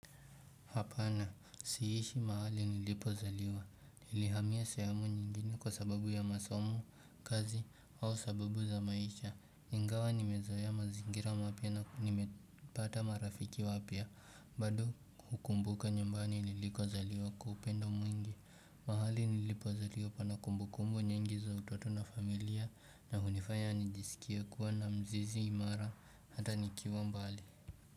Hapana siishi mahali nilipozaliwa nilihamia sehemu nyingine kwa sababu ya masomo kazi au sababu za maisha ingawa nimezoea mazingira mapya na nimepata marafiki wapya bado hukumbuka nyumbani nilikozaliwa kwa upendo mwingi mahali nilipozaliwa pana kumbukumbu nyingi za utoto na familia na hunifanya nijisikia kuwa na mzizi imara hata nikiwa mbali.